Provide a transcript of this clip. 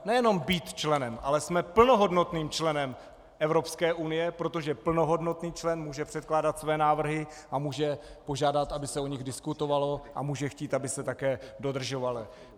Nejenom být členem, ale jsme plnohodnotným členem Evropské unie, protože plnohodnotný člen může předkládat své návrhy a může požádat, aby se o nich diskutovalo, a může chtít, aby se také dodržovaly.